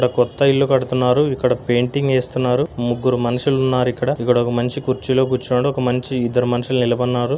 ఇక్కడ కొత్త ఇల్లు కడుతున్నారు ఇక్కడ పేయింటింగ్ ఏస్తున్నారు ముగ్గురు మనుషులున్నారిక్కడ ఇక్కడొక మనిషి కుర్చీలో కూర్చున్నాడు ఒక మనిషి ఇద్దరు మనుషులు నిలబడినారు.